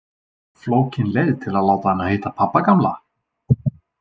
Flókin leið til að láta hana hitta pabba gamla?